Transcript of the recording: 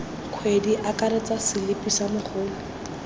kgwedi akaretsa selipi sa mogolo